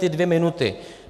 Ty dvě minuty.